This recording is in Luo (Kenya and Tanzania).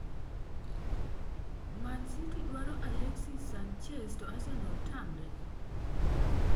Man city dwaro Alexis Sanchez to Arsenal Tamre?